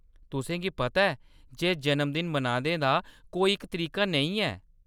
तुसेंगी पता ऐ जे, जन्मदिन मनाने दा कोई इक तरीका नेईं ऐ।